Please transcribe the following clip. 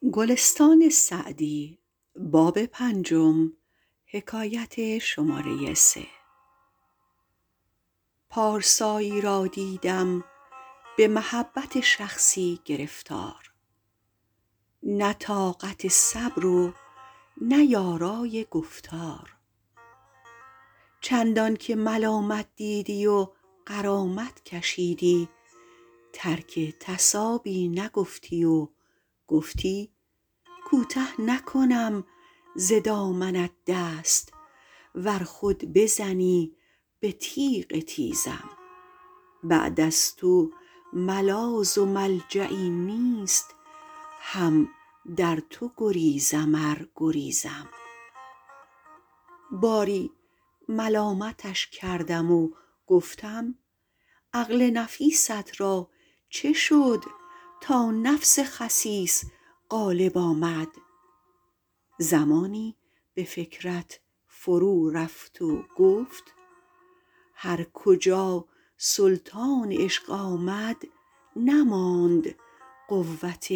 پارسایی را دیدم به محبت شخصی گرفتار نه طاقت صبر و نه یارای گفتار چندان که ملامت دیدی و غرامت کشیدی ترک تصابی نگفتی و گفتی کوته نکنم ز دامنت دست ور خود بزنی به تیغ تیزم بعد از تو ملاذ و ملجایی نیست هم در تو گریزم ار گریزم باری ملامتش کردم و گفتم عقل نفیست را چه شد تا نفس خسیس غالب آمد زمانی به فکرت فرو رفت و گفت هر کجا سلطان عشق آمد نماند قوت